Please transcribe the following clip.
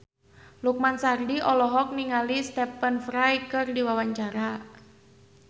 Lukman Sardi olohok ningali Stephen Fry keur diwawancara